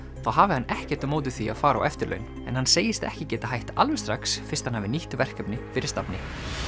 þá hafi hann ekkert á móti því að fara á eftirlaun en hann segist ekki geta hætt alveg strax fyrst hann hafi nýtt verkefni fyrir stafni